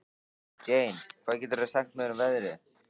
Jane, hvað geturðu sagt mér um veðrið?